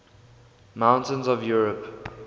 mountains of europe